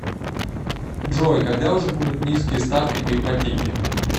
джой когда уже будут низкие ставки по ипотеке